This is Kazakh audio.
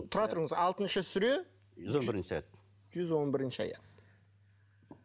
тұра тұрыңыз алтыншы сүре жүз он бірінші аят жүз он бірінші аят